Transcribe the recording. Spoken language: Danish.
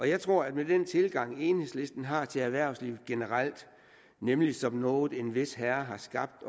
jeg tror at med den tilgang enhedslisten har til erhvervslivet generelt nemlig som noget en vis herre har skabt